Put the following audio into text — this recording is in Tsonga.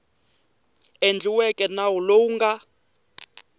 endliweke nawu lowu wu nga